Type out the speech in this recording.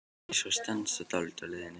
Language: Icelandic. Að vísu var stansað dálítið á leiðinni.